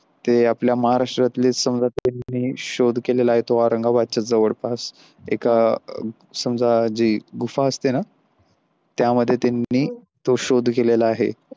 ते आपल्या महाराष्ट्रातले समजा शोध केलेला आहे तो औरंगाबादच्या जवळपास एका समजा जी गुफा असते न त्यामध्ये त्यांनी तो शोध केलेला आहे.